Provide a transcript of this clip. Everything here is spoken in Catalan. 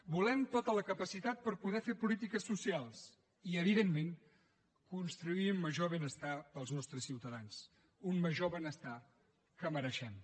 volem tota la capacitat per poder fer polítiques socials i evidentment construir un major benestar per als nostres ciutadans un major benestar que mereixem